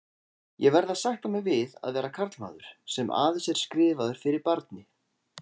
Ég verð að sætta mig við að vera karlmaður, sem aðeins er skrifaður fyrir barni.